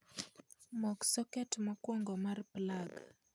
Mok soket mokwongo mar plag